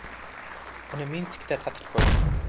Uni Minskda tatib ko‘rdim.